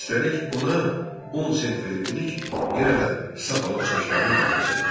Üstəlik ona 10 sent verib dedi ki, yenə də saf alıb saçlarını bağlasın.